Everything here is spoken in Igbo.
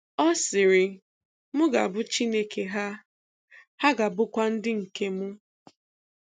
Ọ sịrị, "M ga-abụ Chineke ha, ha ga-abụkwa ndị um m."